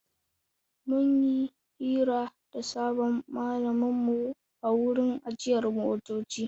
Mun yi hira da sabon malaminmu a wurin ajiyar motoci.